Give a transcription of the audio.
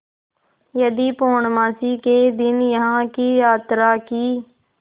यदि पूर्णमासी के दिन यहाँ की यात्रा की